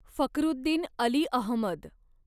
Fakhruddin Ali Ahmad